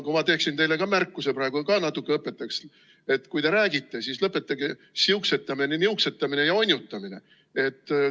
Ma teeksin teile ka märkuse, ka natuke õpetaksin, et kui te räägite, siis lõpetage siuksetamine, niuksetamine ja onjutamine.